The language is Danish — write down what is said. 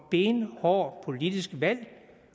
benhårdt politisk valg